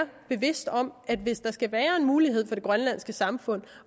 bevidste om at hvis der skal være en mulighed for det grønlandske samfund